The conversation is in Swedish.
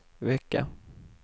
vecka